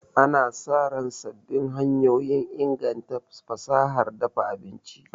Ana sa ran sabbin hanyoyin inganta fasahar dafa abinci.